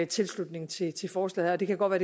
tilslutning til forslaget det kan godt være